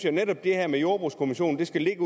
at netop det her med jordbrugskommissionen skal ligge